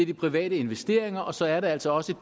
de private investeringer og så er der altså også